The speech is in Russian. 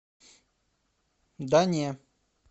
да не